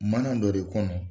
Manan dɔ de kɔnɔ.